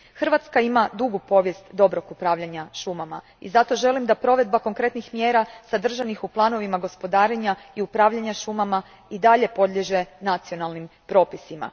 Hrvatska ima dugu povijest dobrog upravljanja šumama, i zato želim da provedba konkretnih mjera sadržanih u planovima gospodarenja i upravljanja šumama i dalje podliježe nacionalnim propisima.